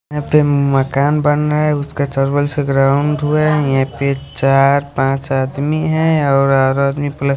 यहाँ पे मकान बन रहा है उसका यहाँ पे चार पांच आदमी है और आदमी--